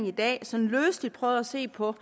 i dag sådan løseligt prøvet at se på